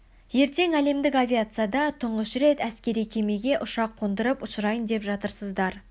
ертең әлемдік авиацияда тұңғыш рет әскери кемеге ұшақ қондырып ұшырайын деп жатырсыздар